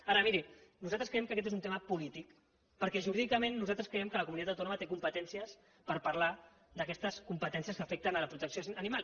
ara miri nosaltres creiem que aquest és un tema polític perquè jurídicament nosaltres creiem que la comunitat autònoma té competències per parlar d’aquestes competències que afecten la protecció animal